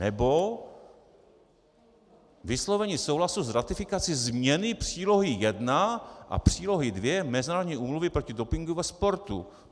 Anebo vyslovení souhlasu s ratifikací změny Přílohy 1 a přílohy 2 Mezinárodní úmluvy proti dopingu ve sportu.